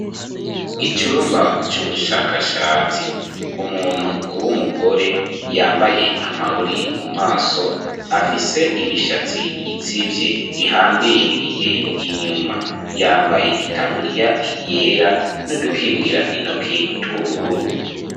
Icumba, c'ubushakashatsi; umuntu w'umugore, yambaye amarori, mu maso, afise imishatsi, itsivye, ihambiririye inyuma; yambaye itaburiya, yera, n'udukingira intoki, tw'ubururu.